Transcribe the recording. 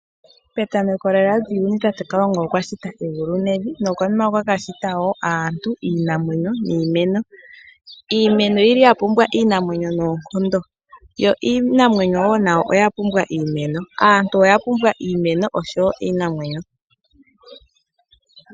Petameko lela lyuuyuni kalunga okwa shita egulu nevi, nokunima okwa ka shita wo aantu, iinamwenyo niimeno. Iimeno oyili ya pumbwa iinamwenyo noonkondo yo iinamwenyo wo nayo oya pumbwa iimeno. Aantu oya pumbwa iimeno osho wo iinamwenyo.